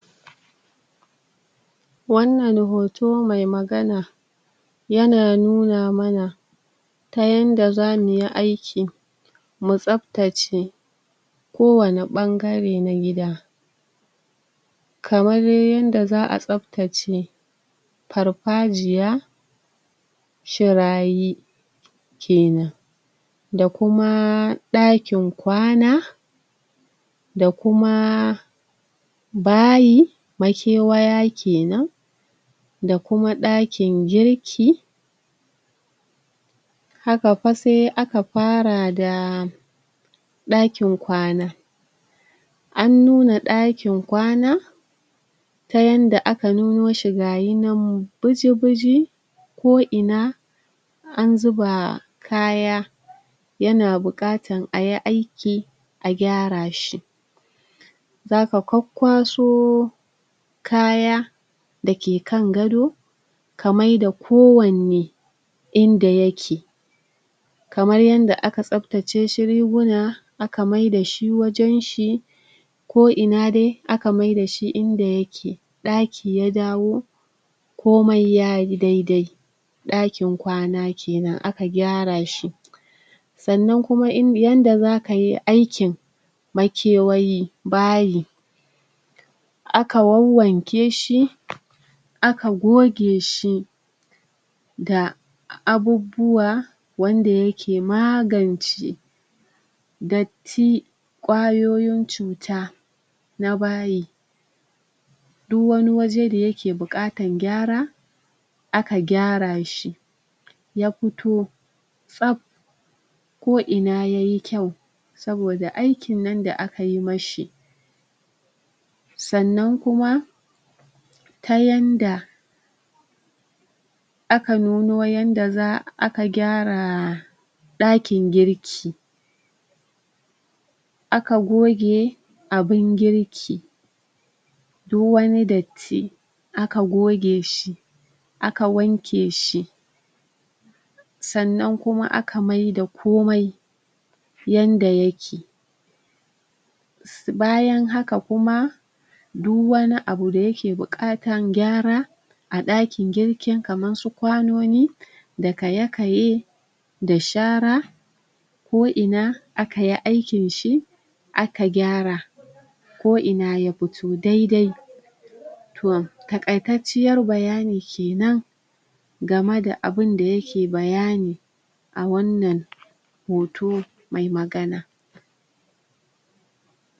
Wannan hoto mai magana yana nuna mana ta yanda za mu yi aiki mu tsaftace kowanne ɓangare na gida kamar yanda za a tsaftace farfajiya, shirayi kenan, da kuma ɗakin kwana da kuma bayi, makewaya kenan, da kuma ɗakin girki. Haka fa sai aka fara da ɗakin ƙwana. An nuna dakin ƙwana ta yanda aka nuno shi gayi nan buji buji an zuba kaya yana buƙatan a yi aiki a gyara shi. Za ka kwakkwaso kaya da ke kan gado ka maida kowanne inda yake. Kamar yanda aka tsaftace shi riguna aka mai da shi wajan shi ko'ina dai aka maida shi inda yake. Ɗaki ya dawo komai ya yi daidai, ɗakin kwana kenan aka gyara shi. Sannan kuma yanda za ka yi aikin makewayi, bayi, aka wawwanke shi aka goge shi da abubuwa wanda yake magance datti, ƙwayoyin cuta na bayi, duk wani waje da yake da buƙatan gyara aka gyarashi, ya fito tsaf ko'ina ya yi kyau saboda aikin nan da aka yi mashi. Sannan kuma ta yanda aka nuno yanda za a aka gyara ɗakin girki aka goge abun girki, du wani datti aka goge shi, aka wanke shi sannan kuma aka maida komai yanda yake. Bayan haka kuma du wani abu da yake buƙatan gyara a dakin girkin kaman su ƙwanoni da kaye kaye da shara ko'ina aka yi aikin shi aka gyara, ko'ina ya fito daidai. To, takaitacciyar bayani kenan game da abunda yake bayani a wannan hoto mai magana